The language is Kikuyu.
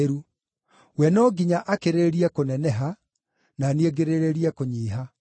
We no nginya akĩrĩrĩrie kũneneha, na niĩ ngĩrĩrĩrie kũnyiiha.